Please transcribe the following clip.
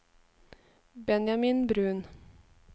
Benjamin Bruun